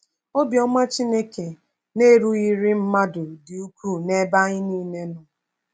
Obiọma Chineke na-erughịrị mmadụ dị ukwuu n’ebe anyị nile nọ.